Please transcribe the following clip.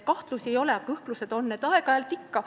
Kahtlusi ei ole, aga kõhklused on, aeg-ajalt ikka.